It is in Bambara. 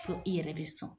Fo i yɛrɛ bɛ sɔn